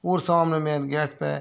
ओर सामने main gate पे --